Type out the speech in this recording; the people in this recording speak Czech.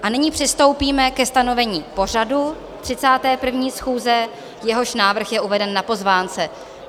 A nyní přistoupíme ke stanovení pořadu 31. schůze, jehož návrh je uveden na pozvánce.